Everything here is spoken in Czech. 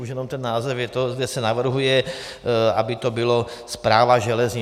Už jenom ten název je to, kde se navrhuje, aby to bylo Správa železnic.